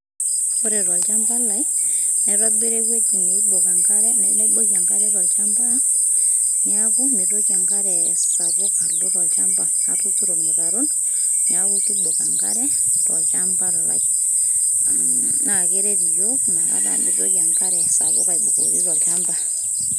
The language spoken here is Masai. Kore tolchamba lai naitobira ewueji neibok enkare naibokie enkare niaku meitoki enkare sapuk alo tolchamba atuturo ilmutaron neaku keibok enkare tolchamba lai mmh naakeret iyiok metaa meitoki enkare sapuk aibukori tolchamba.